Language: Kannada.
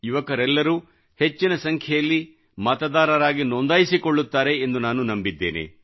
ಯುವಕರೆಲ್ಲರೂ ಹೆಚ್ಚಿನ ಸಂಖ್ಯೆಯಲ್ಲಿ ಮತದಾರರಾಗಿ ನೋಂದಾಯಿಸಿಕೊಳ್ಳುತ್ತಾರೆ ಎಂದು ನಾನು ನಂಬಿದ್ದೇನೆ